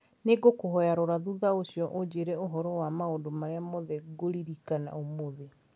nĩ ngũkũhoya rora thutha ũcio ũnjĩre ũhoro wa maũndũ marĩa mothe ngũririkana ũmũthĩ.